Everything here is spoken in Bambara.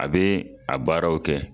A bɛ a baaraw kɛ